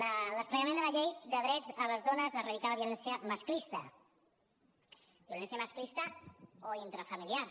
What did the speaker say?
el desplegament de la llei del dret de les dones a erradicar la violència masclista violència masclista o intrafamiliar